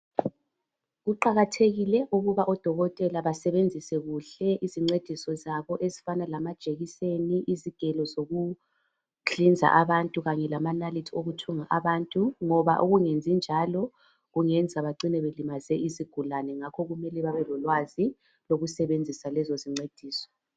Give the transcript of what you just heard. Kuqakathekile ukuthi odokotela basebenzise kuhle izincediso zabo ezifana lamajekiseni izigelo zokuhlinza abantu Kanye lamanalithi wokuthunga abantu ngoba ukungezi njalo kungenza bacina belimaze izigulani ngakho kumele bebe lolwazi lokusebenzisa lezo izincediso